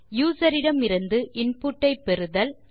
user இடமிருந்து input பெறுதல்